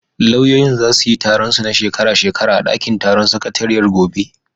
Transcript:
Lauyoyin zasu yi taron su na shekara shekara a ɗakin taron sakatariyar gobe.